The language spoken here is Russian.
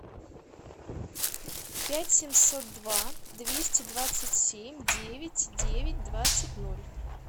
пять семьсот два двести двадцать семь девять девять двадцать ноль